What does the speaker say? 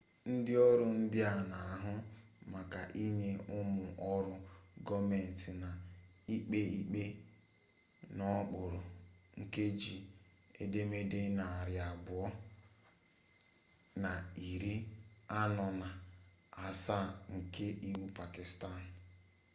ndị ọrụ ndị a na-ahụ maka ịnye ụmụ ọrụ gọọmentị na ikpe ikpe n'okpuru nkeji edemede narị abụọ na iri anọ na asaa nke iwu pakistan